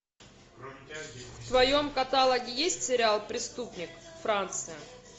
в твоем каталоге есть сериал преступник франция